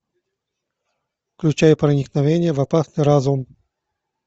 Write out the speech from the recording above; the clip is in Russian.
включай проникновение в опасный разум